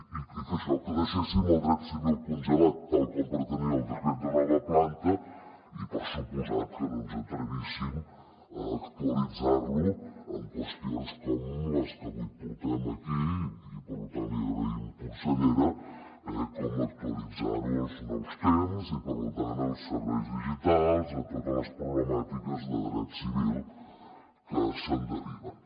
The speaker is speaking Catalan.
i que això que deixéssim el dret civil congelat tal com pretenia el decret de nova planta i per descomptat que no ens atrevíssim a actualitzar lo amb qüestions com les que avui portem aquí i per tant li ho agraïm consellera com actualitzar ho als nous temps i per tant als serveis digitals i a totes les problemàtiques de dret civil que se’n deriven